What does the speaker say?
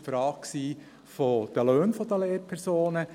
Es war die Frage der Löhne der Lehrpersonen.